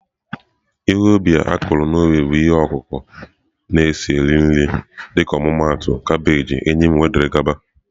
Ihe ubi a kụrụ n'ubi bụ ihe ọkụkụ na-esi eri nri dịka ọmụmaatụ kabeeji, eyịm wdg